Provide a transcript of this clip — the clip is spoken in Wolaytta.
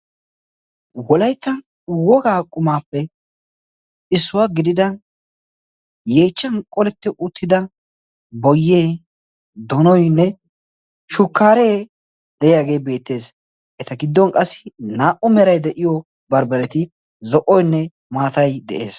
wolaytta wogaa qumaappe issuwaa gidida yeechchan qoletti uttida boyee, donoynne shukkaaree de7iyaagee beettees. eta giddon qassi naa77u meray de7iyo barbbareti zo77oynne maatay de7ees.